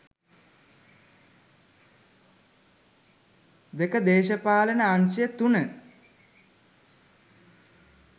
02.දේශපාලන අංශය 03.